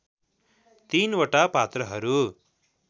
तिनवटा पात्रहरू